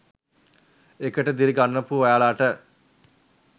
ඒකට දිරි ගන්වපු ඔයාලට